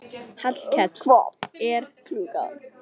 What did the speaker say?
Hallkell, hvað er klukkan?